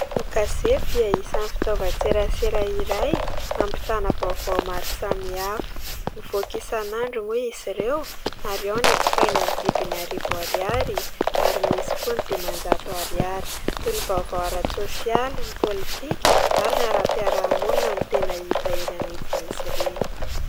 Ny gazety dia isany fitaovan-tserasera iray hampitana vaovao maro samihafa, mivoaka isan'andro moa izy ireo ary ao ny jifaina ny vidiny arivo ariary ary misy koa ny dimanjato ariary, toy ny vaovao ara-tsosialy, ny politika ary ny ara-piarahamonina no tena hita eny anivon'izy ireny.